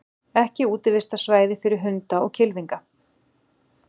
Ekki útivistarsvæði fyrir hunda og kylfinga